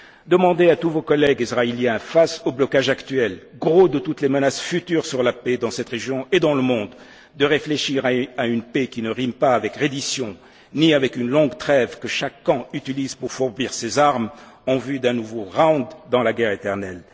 Orient. Demandez à tous vos collègues israéliens, face au blocage actuel, gros de toutes les menaces futures sur la paix dans cette région et dans le monde, de réfléchir à une paix qui ne rime ni avec reddition, ni avec une longue trêve que chaque camp utilise pour fourbir ses armes en vue d'un nouveau round dans la guerre éternelle.